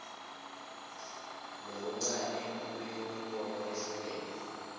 loluncane lwemibono lehlukene